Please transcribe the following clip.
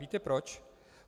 Víte proč?